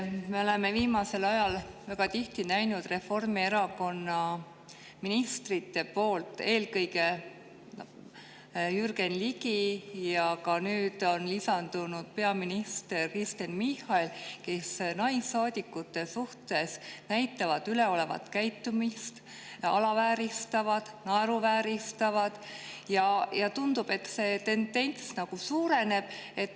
Me oleme viimasel ajal väga tihti näinud, kuidas Reformierakonna ministrid, eelkõige Jürgen Ligi ja nüüd on lisandunud ka peaminister Kristen Michal, näitavad naissaadikute suhtes üles üleolevat käitumist, alavääristavad neid ja naeruvääristavad, ja tundub, et see tendents nagu suureneb.